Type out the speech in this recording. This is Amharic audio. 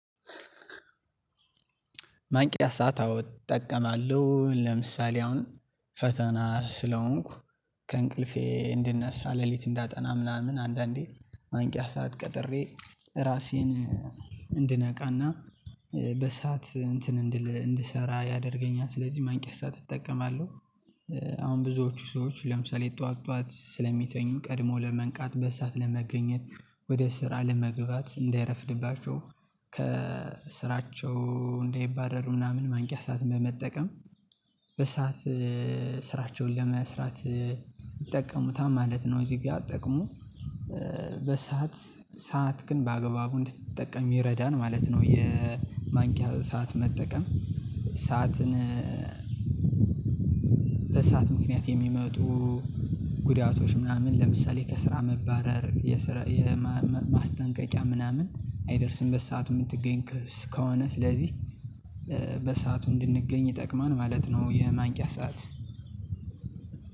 ማንቂያ ሰዓት አዎ እጠቀማለሁ ለምሳሌ አሁን ፈተና ስለሆንኩ ከእንቅልፌ እንድነሳ ሌሊት እንዳጠና ምናምን አንዳንዴ ማንቂያ ሰዓት ቀጥሬ ራሴን እንድነቃና በሰአት እንትን እንድል እንድሰራ ያደርገኛል ስለዚህ ማንቂያ ሰዓት እጠቀማለሁ። አሁን ብዙዎቹ ሰዎች ለምሳሌ ጠዋት ጠዋት ስለሚተኙ ቀድሞ ለመንቃት በሰአት ለመገኘት ወደ ስራ ለመግባት እንዳይረፍድባቸው ከስራቸው እንደይባረሩ ምናምን ማንቂያ ሰዓት በመጠቀም በሰአት ስራቸውን ለመስራት ይጠቀሙታል ማለት ነው። እዚህ ጋር ጥቅሙ በሰአት ሰአትክን በአግባቡ እንድትጠቀም ይረዳል ማለት ነው። የማንቂያ ሰዓት መጠቀም ሰዓትን በሰአት ምክንያት የሚመጡ ጉዳቶች ምናምን ለምሳሌ ከስራ መባረር የስራ የማስጠንቀቂያ ምናምን አይደርስም በሰአቱ የምትገኝ ከሆነ ስለዚህ በሰአቱ እንድንገኝ ይጠቅማል ማለት ነው። የማንቂያ ሰዓት